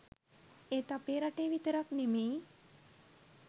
ඒත් අපේ රටේ විතරක් නෙමෙයි